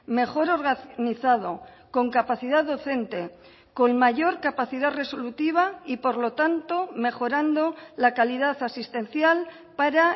mejor organizado con capacidad docente con mayor capacidad resolutiva y por lo tanto mejorando la calidad asistencial para